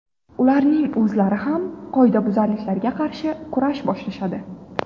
Ularning o‘zlari ham qoidabuzarliklarga qarshi kurash boshlashadi.